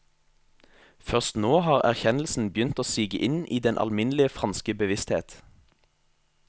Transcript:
Først nå har erkjennelsen begynt å sige inn i den alminnelige franske bevissthet.